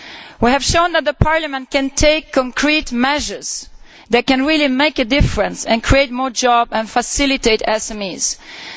We have shown that Parliament can take concrete measures that can really make a difference, create more jobs and assist SMEs.